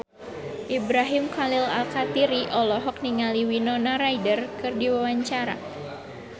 Ibrahim Khalil Alkatiri olohok ningali Winona Ryder keur diwawancara